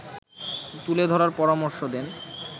তুলে ধরার পরামর্শ দেন